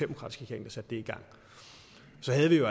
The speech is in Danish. regering der satte det i gang så havde vi